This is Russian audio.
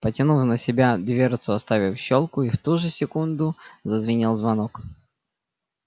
потянул на себя дверцу оставив щёлку и в ту же секунду зазвенел звонок